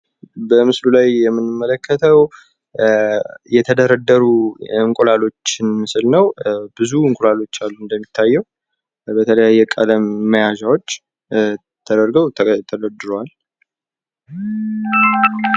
በምስሉ ላይ የምንመለከተው የተደረድሩ እንቁላሎችን ምስል ነው። ብዙ እንቁላሎች አሉ እንደሚታየው። በተለያየ ቀለም መያዣዎች ተደርገው ተደረድረዋል።